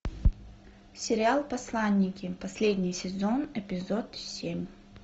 сериал посланники последний сезон эпизод семь